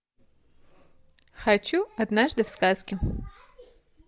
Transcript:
хочу однажды в сказке